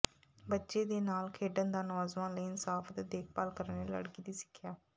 ਬੱਚੇ ਦੇ ਨਾਲ ਖੇਡਣ ਦਾ ਨੌਜਵਾਨ ਲਈ ਇਨਸਾਫ ਅਤੇ ਦੇਖਭਾਲ ਕਰਨ ਲਈ ਲੜਕੀ ਦੀ ਸਿੱਖਿਆ